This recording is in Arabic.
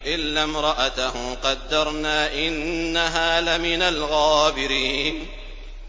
إِلَّا امْرَأَتَهُ قَدَّرْنَا ۙ إِنَّهَا لَمِنَ الْغَابِرِينَ